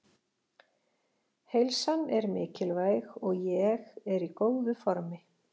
Heilsan er mikilvæg og ég er í góðu formi.